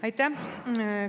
Aitäh!